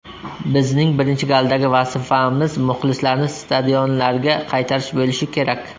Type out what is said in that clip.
Bizning birinchi galdagi vazifamiz muxlislarni stadionlarga qaytarish bo‘lishi kerak.